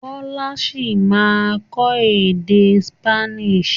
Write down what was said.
Kọ́lá ṣì ma kọ́ èdè Spanish.